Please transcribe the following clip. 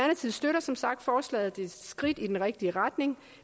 støtter som sagt forslaget det er et skridt i den rigtige retning